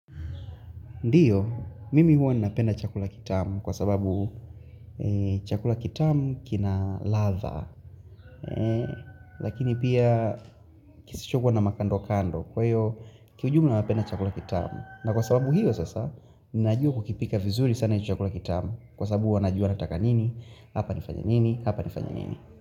Ndiyo, mimi huwa ni napenda chakula kitamu kwa sababu chakula kitamu kina ladha, lakini pia kisichokuwa na makando kando, kwa hiyo kiujumla napenda chakula kitamu. Na kwa sababu hiyo sasa, ninajua kukipika vizuri sana chakula kitamu kwa sababu huwa najua nataka nini, hapa nifanye nini,